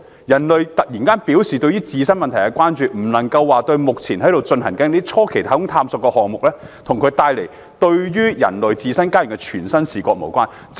人類突然關注自身問題，與目前進行的初期太空探索項目，以及它為人類帶來的嶄新視野不無關係。